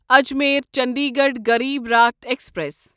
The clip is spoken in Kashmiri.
اجمیرچنڈیگڑھ غریب راٹھ ایکسپریس